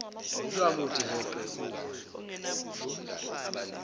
lwamuthi heqe uvalo